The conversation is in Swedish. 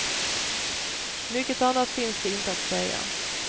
Mycket annat finns det inte att säga.